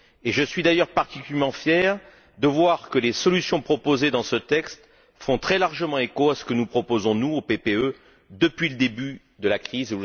Je suis d'ailleurs particulièrement fier de voir que les solutions proposées dans ce texte font très largement écho à ce que nous proposons, nous, au sein du groupe PPE depuis le début de la crise.